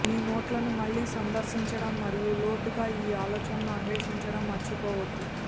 మీ నోట్లను మళ్లీ సందర్శించడం మరియు లోతుగా ఈ ఆలోచనలు అన్వేషించడం మర్చిపోవద్దు